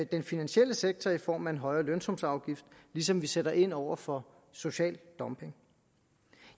den finansielle sektor bidrager i form af en højere lønsumsafgift ligesom vi sætter ind over for social dumping